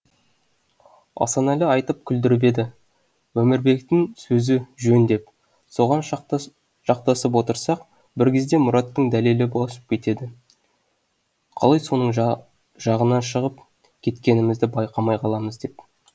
асанәлі айтып күлдіріп еді өмірбектің сөзі жөн деп соған жақтасып отырсақ бір кезде мұраттың дәлелі босып кетеді қалай соның жағына шығып кеткенімізді байқамай қаламыз деп